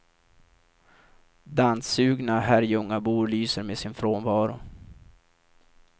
Danssugna herrljungabor lyser med sin frånvaro.